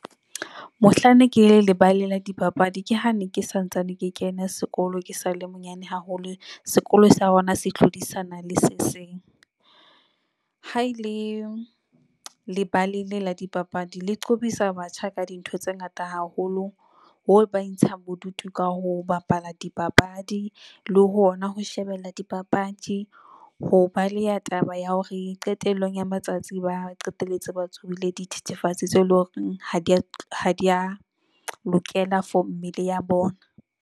Mohlang ne ke le lebaleng la dipapadi. Ke hane ke sa ntsane ke kena sekolo. Ke sale monyane haholo, sekolo sa hona se hlodisana le se seng. Ha ele lebala le la dipapadi le qobisa batjha ka dintho tse ngata haholo boo ba intshang bodutu ka ho bapala dipapadi le ho ona ho shebella dipapadi. Ho baleha taba ya hore qetellong ya matsatsi ba qetelletse ba tsobile dithethefatsi tseo eleng hore ha di ya, ha di ya lokela for mmele ya bona.